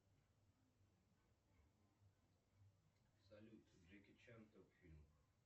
салют джеки чан топ фильмов